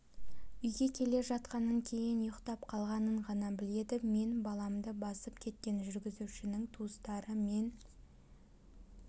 үйге келе жатқанын кейін ұйықтап қалғанын ғана біледі мен баламды басып кеткен жүргізушінің туыстары мен